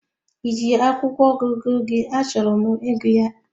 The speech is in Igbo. Ị ji akwụkwọ ọgụgụ gị achọrọ m ịgụ ya?